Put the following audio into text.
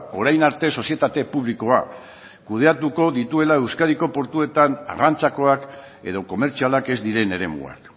orain arte sozietate publikoa kudeatuko dituela euskadiko portuetan arrantzakoak edo komertzialak ez diren eremuak